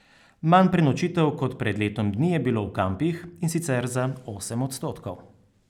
Manj prenočitev kot pred letom dni je bilo v kampih, in sicer za osem odstotkov.